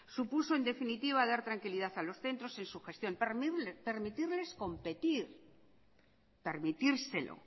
supuso en definitiva dar tranquilidad a los centros en su gestión permitirles competir permitírselo